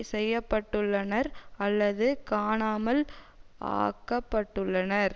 செய்ய பட்டுள்ளனர் அல்லது காணாமல் ஆக்கப்பட்டுள்ளனர்